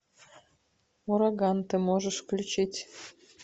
ураган ты можешь включить